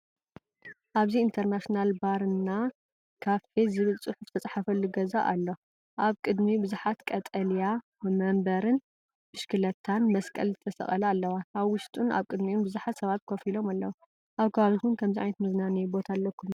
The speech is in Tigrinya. ኣብዚ “ኢንተርናሽናል ባር እና ካፌ” ዝብል ጽሑፍ ዝተጻሕፈሉ ገዛ ኣሎ። ኣብ ቅድሚ ብዙሓት ቀጠልያ መንበርን ብሽክለታን መስቀል ዝተሰቕለን ኣለዋ። ኣብ ውሽጡን ኣብ ቅድሚኡን ብዙሓት ሰባት ኮፍ ኢሎም ኣለዉ። ኣብ ከባቢኩም ከምዚ ዓይነት መዝናነይ ቦታ ኣለኩም ዶ?